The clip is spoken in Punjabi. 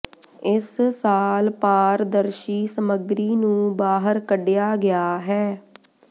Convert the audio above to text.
ਇਸ ਸਾਲ ਪਾਰਦਰਸ਼ੀ ਸਮੱਗਰੀ ਨੂੰ ਬਾਹਰ ਕੱਢਿਆ ਗਿਆ ਹੈ